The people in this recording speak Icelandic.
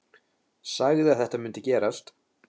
Sagði að þetta mundi gerast.